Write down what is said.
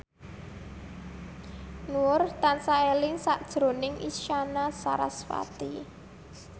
Nur tansah eling sakjroning Isyana Sarasvati